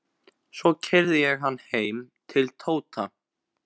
Svo keyrði ég hann heim til Tóta.